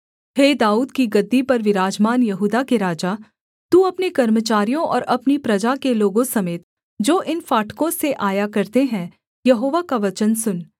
हे दाऊद की गद्दी पर विराजमान यहूदा के राजा तू अपने कर्मचारियों और अपनी प्रजा के लोगों समेत जो इन फाटकों से आया करते हैं यहोवा का वचन सुन